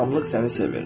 Tamlıq səni sevir.